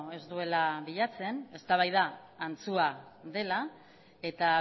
ez duela bilatzen eztabaida antzua dela eta